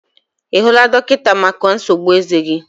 I hụla dọkịta maka nsogbu eze gi?